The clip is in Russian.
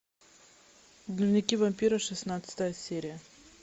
дневники вампира шестнадцатая серия